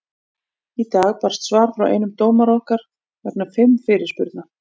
Í dag barst svar frá einum dómara okkar vegna fimm fyrirspurna.